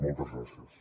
moltes gràcies